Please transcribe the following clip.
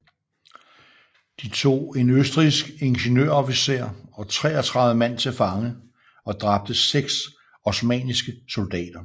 De tog en østrigsk ingeniørofficer og 33 mand til fange og dræbte 6 osmanniske soldater